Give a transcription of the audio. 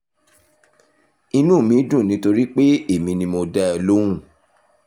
inú mi dùn nítorí pé èmi ni mo dá ẹ lóhùn